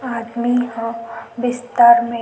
आदमी ह बिस्तर में--